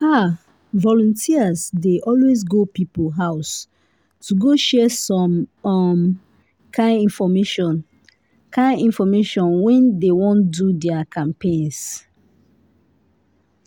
ah! volunteers dey always go people house to go share some um kind infomation kind infomation when dey wan do their campaigns.